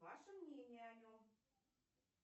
ваше мнение о нем